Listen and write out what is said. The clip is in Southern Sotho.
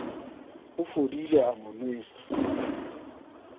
o fodile a mo nwesa